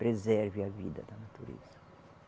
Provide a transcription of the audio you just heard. Preserve a vida da natureza.